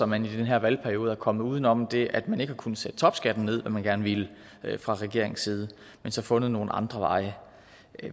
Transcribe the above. man i den her valgperiode er kommet uden om det at man ikke har kunnet sætte topskatten ned hvad man gerne ville fra regeringens side men så fundet nogle andre veje